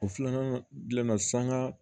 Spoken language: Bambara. O filanan bilenna sanga